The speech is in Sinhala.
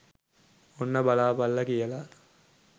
ඕන්න බලාපල්ලා කියලා.